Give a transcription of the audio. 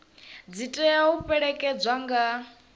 dzi tea u fhelekedzwa nga